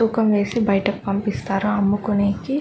తూకం వేసి బయటకి పంపిస్తారు అమ్ముకునేకి.